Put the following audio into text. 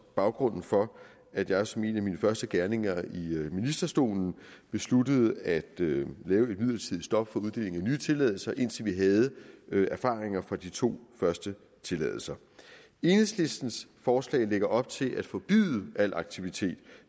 baggrunden for at jeg som en af mine første gerninger i ministerstolen besluttede at lave et midlertidigt stop for uddelingen af nye tilladelser indtil vi havde erfaringer fra de to første tilladelser enhedslistens forslag lægger op til at forbyde al aktivitet